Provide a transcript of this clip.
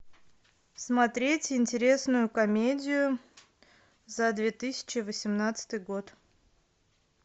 смотреть интересную комедию за две тысячи восемнадцатый год